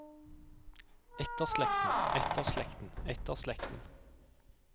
etterslekten etterslekten etterslekten